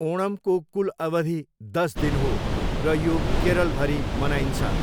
ओणमको कुल अवधि दस दिन हो र यो केरलभरि मनाइन्छ।